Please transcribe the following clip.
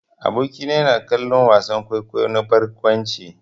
Aboki na yana kallon wasan kwaikwayo na barkwanci.